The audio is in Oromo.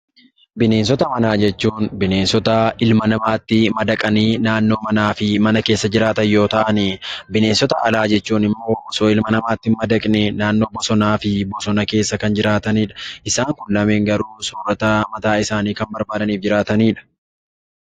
Bineensota manaa jechuun bineensota ilma namaa yookaan namatti madaqanii naannoo manaattii fi mana keessatti jiraatan yommuu ta'an, bineensota alaa jechuun immoo osoo ilma namaatti hin madaqiin naannoo bosonaa fi bosona keessa kan jiraatanidha. Isaan Kun lameen garuu soorata mataa isaanii kan barbaadanii fi jiraatanidha.